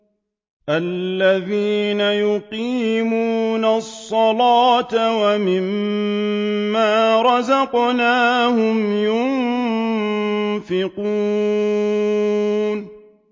الَّذِينَ يُقِيمُونَ الصَّلَاةَ وَمِمَّا رَزَقْنَاهُمْ يُنفِقُونَ